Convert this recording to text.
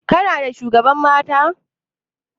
Kuna da shugaban mata?